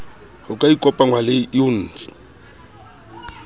ho ka ikopangwa le iucn